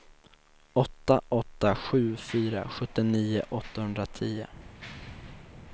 åtta åtta sju fyra sjuttionio åttahundratio